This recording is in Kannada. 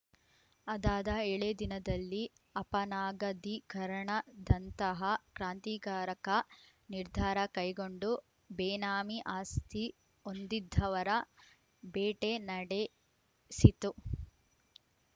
ಅದಾದ ಏಳೇ ದಿನದಲ್ಲಿ ಅಪನಗದೀಕರಣದಂತಹ ಕ್ರಾಂತಿಕಾರಕ ನಿರ್ಧಾರ ಕೈಗೊಂಡು ಬೇನಾಮಿ ಆಸ್ತಿ ಹೊಂದಿದವರ ಬೇಟೆ ನಡೆಸಿತು